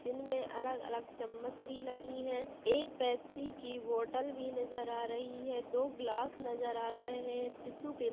जिनमे अलग-अलग चम्मच भी लगी है एक पेप्सी की बॉटल भी नजर आ रही है दो ग्लास नज़र आ रहे है टिसु पेपर --